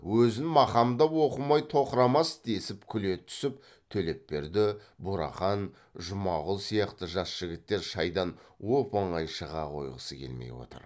өзін мақамдап оқымай тоқырамас десіп күле түсіп төлепберді бурахан жұмағұл сияқты жас жігіттер шайдан оп оңай шыға қойғысы келмей отыр